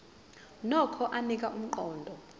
nokho anika umqondo